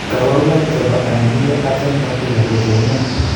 kabarunaik chebo Aniridia absent patella ko cheu nee ?